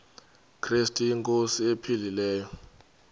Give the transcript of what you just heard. krestu inkosi ephilileyo